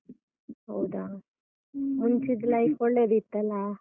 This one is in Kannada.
ಹೌದಾ, ಮುಂಚಿದ್ದು ಲೈಫ್ ಒಳ್ಳೇದಿತ್ತಲ್ಲ?